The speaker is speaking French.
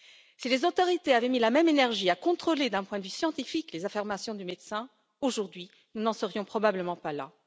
Si les autorités avaient mis la même énergie à contrôler d'un point de vue scientifique les affirmations du médecin, aujourd'hui nous n'en serions probablement pas là.